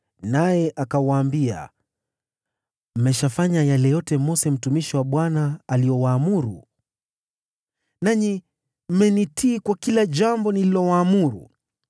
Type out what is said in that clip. naye akawaambia, “Mmeshafanya yale yote Mose mtumishi wa Bwana aliyowaamuru, nanyi mmenitii kwa kila jambo nililowaamuru.